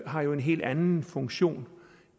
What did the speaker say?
har en helt anden funktion